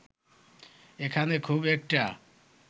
এখানে খুব একটা